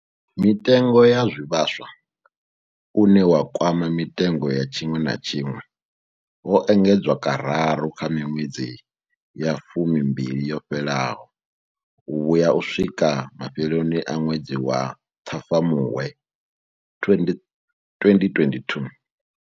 Mutengo wa zwivhaswa, une wa kwama mitengo ya tshiṅwe na tshiṅwe, wo engedzwa kararu kha miṅwedzi ya fumimbili yo fhelaho u vhuya u swikela mafheloni a ṅwedzi wa Ṱhafamuhwe 2022.